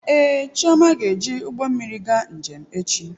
Ee, Chioma ga-eji ụgbọ mmiri gaa njem echi.